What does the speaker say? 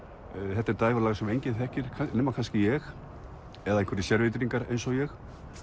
þetta er dægurlag sem enginn þekkir nema kannski ég eða einhverjir sérvitringar eins og ég